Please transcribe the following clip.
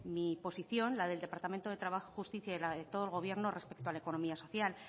mi posición la del departamento de trabajo justicia y la de todo el gobierno respecto a la economía social